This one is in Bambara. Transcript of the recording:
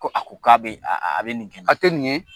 Ko a ko k'a bɛ a a bɛ nin kɛ a tƐ nin ye.